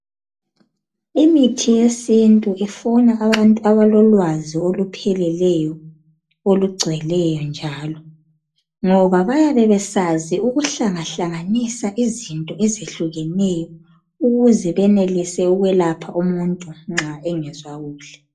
Imithi yesintu ifuna abantu abalolwazi olupheleleyo, olugcweleyo njalo, ngoba bayabe besazi ukuhlangahlanganisa izinto ezihlukeneyo ukuze benelise ukwelapha umuntu nxa engezwa kuhle.